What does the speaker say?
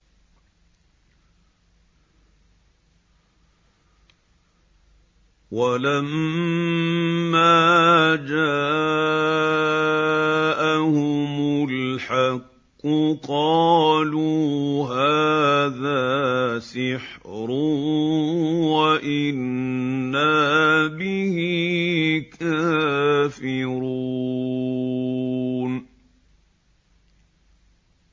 وَلَمَّا جَاءَهُمُ الْحَقُّ قَالُوا هَٰذَا سِحْرٌ وَإِنَّا بِهِ كَافِرُونَ